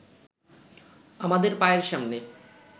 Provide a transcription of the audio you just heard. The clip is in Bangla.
আমাদের পায়ের সামনে